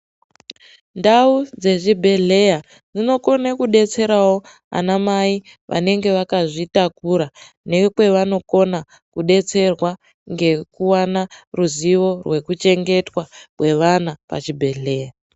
Ndawu dzezvibhedhleya, inokona kudetserawo anamai vanenge vakazvitakura nekwevanopona kudetserwa ngekuwana ruzivo wekuchengetwa kwevana pachibhedhleya.